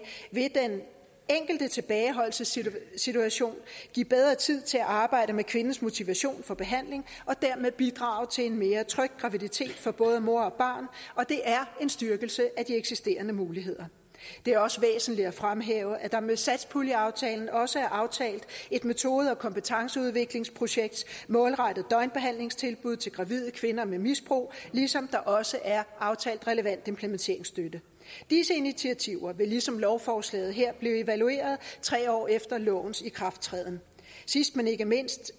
vil den enkelte tilbageholdelsessituation give bedre tid til at arbejde med kvindens motivation for behandling og dermed bidrage til en mere tryg graviditet for både mor og og det er en styrkelse af de eksisterende muligheder det er også væsentligt at fremhæve at der med satspuljeaftalen også er aftalt et metode og kompetenceudviklingsprojekt målrettet døgnbehandlingstilbud til gravide kvinder med et misbrug ligesom der også er aftalt relevant implementeringsstøtte disse initiativer vil ligesom lovforslaget her blive evalueret tre år efter lovens ikrafttræden sidst men ikke mindst